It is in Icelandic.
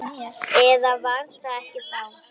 Eða var það ekki þá?